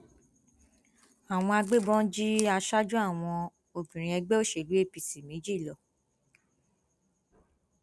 àwọn agbébọn jí aṣáájú àwọn obìnrin ẹgbẹ òṣèlú apc méjì lọ